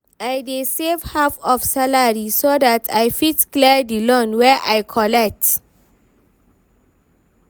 I dey save half of salary so that I fit clear the loan wey I collect.